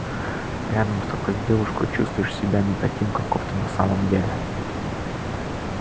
рядом с такой девушкой чувствуешь себя не таким каков ты на самом деле